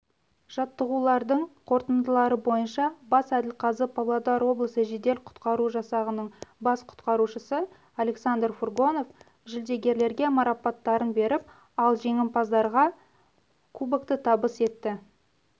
жаттығулардың қорытындылары бойынша бас әділқазы павлодар облысы жедел-құтқару жасағының бас құтқарушысы александр фургонов жүлдегерлерге марапаттарын беріп ал жеңімпаздарға кубокты табыс етті